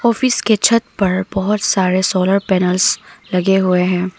Office के छत पर बहोत सारे सोलर पैनल्स लगे हुए हैं।